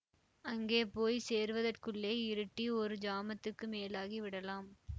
அங்கே போய் சேருவதற்குள்ளே இருட்டி ஒரு ஜாமத்துக்கு மேலாகி விடலாம்